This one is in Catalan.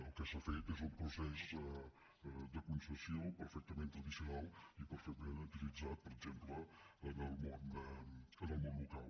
el que s’ha fet és un procés de concessió perfectament tradicional i perfectament utilitzat per exemple en el món local